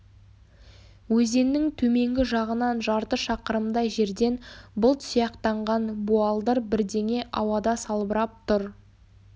өзеннің төменгі жағынан жарты шақырымдай жерден бұлт сияқтанған буалдыр бірдеңе ауада салбырап тұр